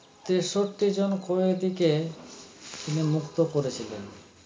তেষট্টি জন কয়েদিকে তিনি মুক্ত করেছিলেন